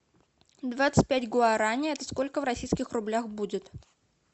двадцать пять гуарани это сколько в российских рублях будет